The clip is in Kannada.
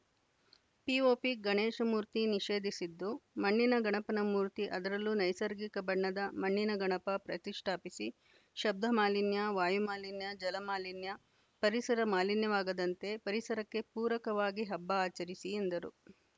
ಪಿಓಪಿ ಗಣೇಶ ಮೂರ್ತಿ ನಿಷೇಧಿಸಿದ್ದು ಮಣ್ಣಿನ ಗಣಪನ ಮೂರ್ತಿ ಅದರಲ್ಲೂ ನೈಸರ್ಗಿಕ ಬಣ್ಣದ ಮಣ್ಣಿನ ಗಣಪ ಪ್ರತಿಷ್ಟಾಪಿಸಿ ಶಬ್ಧಮಾಲಿನ್ಯ ವಾಯುಮಾಲಿನ್ಯ ಜಲ ಮಾಲಿನ್ಯ ಪರಿಸರ ಮಾಲಿನ್ಯವಾಗದಂತೆ ಪರಿಸರಕ್ಕೆ ಪೂರಕವಾಗಿ ಹಬ್ಬ ಆಚರಿಸಿ ಎಂದರು